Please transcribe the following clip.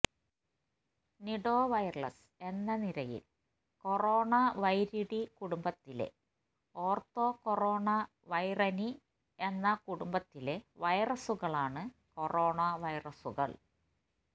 Nidovirales എന്ന നിരയിൽ കൊറോണവൈരിഡി കുടുംബത്തിലെ ഓർത്തോകോറോണവൈറിനി എന്ന ഉപകുടുംബത്തിലെ വൈറസുകളാണ് കൊറോണ വൈറസുകൾ